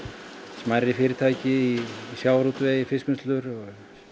smærri fyrirtæki í sjávarútvegi fiskvinnslur